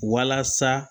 Walasa